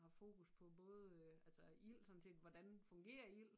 Haft fokus på både øh altså ild sådan set hvordan fungerer ild